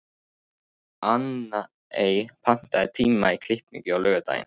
Anne, pantaðu tíma í klippingu á laugardaginn.